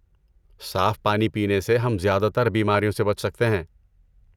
صاف پانی پینے سے ہم زیادہ تر بیماریوں سے بچ سکتے ہیں۔